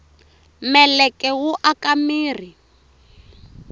meleke wu aka mirhi